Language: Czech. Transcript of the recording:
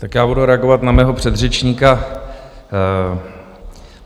Tak já budu reagovat na mého předřečníka.